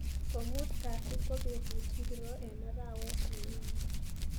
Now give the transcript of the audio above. komuut Kasi ko betut ngiro eng arawet nenyone